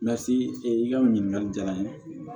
Lasi i ka nin ɲininkali diyara n ye